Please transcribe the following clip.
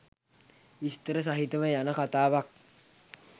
විස්තර සහිතව යන කතාවක්.